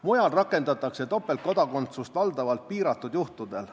Mujal rakendatakse topeltkodakondsust valdavalt piiratud juhtudel.